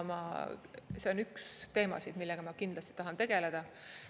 See on üks teemasid, millega ma kindlasti tahan tegeleda.